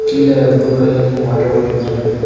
கீழ ப்ளூ கலர்ல என்னமோ வாட்டர் பாட்டில் மாறிருக்கு.